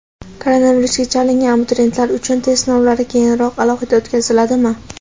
Koronavirusga chalingan abituriyentlar uchun test sinovlari keyinroq alohida o‘tkaziladimi?.